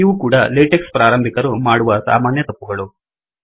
ಇವು ಕೂಡ ಲೇಟೆಕ್ಸ್ ಪ್ರಾರಂಭಿಕರು ಮಾಡುವ ಸಾಮಾನ್ಯ ತಪ್ಪುಗಳು